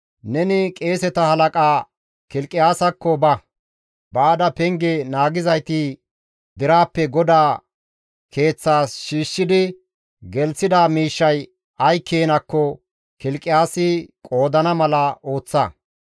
«Neni qeeseta halaqa Kilqiyaasakko ba; baada penge naagizayti deraappe GODAA Keeththas shiishshidi gelththida miishshay ay keenakko Kilqiyaasi qoodana mala ooththa.